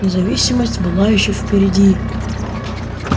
независимость была ещё впереди